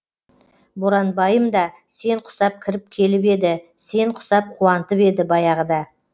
боранбайым да сен құсап кіріп келіп еді сен құсап қуантып еді баяғыда